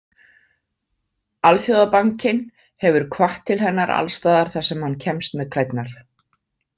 Alþjóðabankinn hefur hvatt til hennar alls staðar þar sem hann kemst með klærnar.